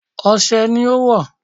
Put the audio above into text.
Ose ni ó wọ̀.